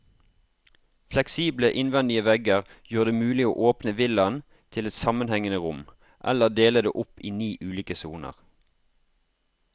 Fleksible innvendige vegger gjør det mulig å åpne villaen til ett sammenhengende rom, eller dele det opp i ni ulike soner.